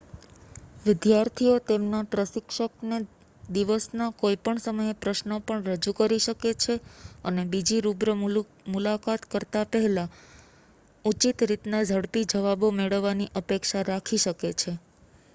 વિદ્યાર્થીઓ તેમના પ્રશિક્ષકને દિવસના કોઈપણ સમયે પ્રશ્નો પણ રજૂ કરી શકે છે અને બીજી રૂબરૂ મુલાકાત કરતા પહેલા ઉચિત રીતના ઝડપી જવાબો મેળવવાની અપેક્ષા રાખી શકે છે